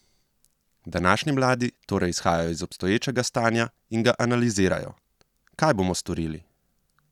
Današnji mladi torej izhajajo iz obstoječega stanja in ga analizirajo: "Kaj bomo storili?